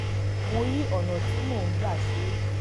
mo yí ọnà tí mo gbà ṣe é